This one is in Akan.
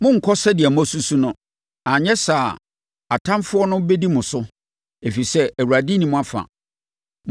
Monnkɔ sɛdeɛ moasusu no, anyɛ saa a, atamfoɔ no bɛdi mo so, ɛfiri sɛ, Awurade nni mo afa.